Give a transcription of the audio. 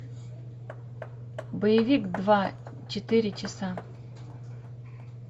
боевик два четыре часа